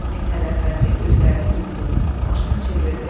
Mithət Əfəndi gözlərini yumdu, başını çevirdi.